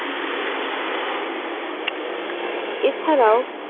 এছাড়াও